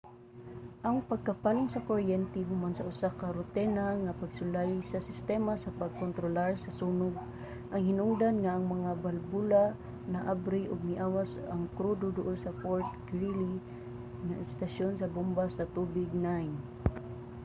ang pagkapalong sa kuryente human sa usa ka rutina nga pagsulay sa sistema sa pagkontrolar sa sunog ang hinungdan nga ang mga balbula naabri ug miawas ang krudo duol sa fort greely nga estasyon sa bomba sa tubig 9